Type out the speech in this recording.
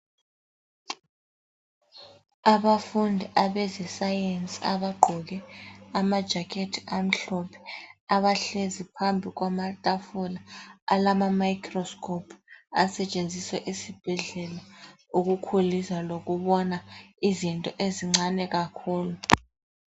Abafundi abezescience abagqoke amajakhethi amhlophe. Abahlezi phambi kwamatafula alama microscope, asetshenziswa esibhedlela ukukhulisa lokubona izinto ezincane kakhulu.